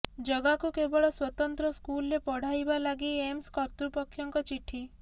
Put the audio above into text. ଜଗାକୁ କେବଳ ସ୍ୱତନ୍ତ୍ର ସ୍କୁଲରେ ପଢାଇବା ଲାଗି ଏମ୍ସ କର୍ତୃପକ୍ଷଙ୍କ ଚିଠି